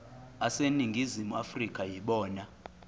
aseningizimu afrika yibona